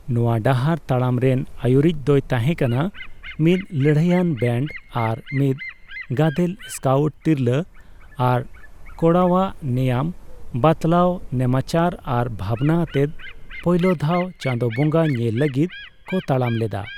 ᱱᱚᱣᱟ ᱰᱟᱦᱟᱨ ᱛᱟᱲᱟᱢ ᱨᱮᱱ ᱟᱭᱩᱨᱤᱡᱽ ᱫᱚᱭ ᱛᱟᱦᱮᱠᱟᱱᱟ ᱢᱤᱫ ᱞᱟᱹᱲᱦᱟᱹᱭᱟᱱ ᱵᱮᱱᱰ ᱟᱨ ᱢᱤᱫ ᱜᱟᱫᱮᱞ ᱥᱠᱟᱣᱩᱴ, ᱛᱤᱨᱞᱟᱹ ᱟᱨ ᱠᱚᱲᱟᱣᱟᱜ ᱱᱮᱭᱟᱢ ᱵᱟᱛᱞᱟᱣ ᱱᱮᱢᱟᱪᱟᱨ ᱟᱨ ᱵᱷᱟᱵᱽᱱᱟ ᱟᱛᱮ ᱯᱳᱭᱞᱳ ᱫᱷᱟᱣ ᱪᱟᱸᱫᱳ ᱵᱚᱸᱜᱟ ᱧᱮᱞ ᱞᱟᱜᱤᱫ ᱠᱚ ᱛᱟᱲᱟᱢ ᱞᱮᱫᱟ ᱾